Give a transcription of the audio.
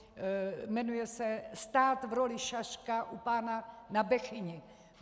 Jmenuje se Stát v roli šaška u pána na Bechyni.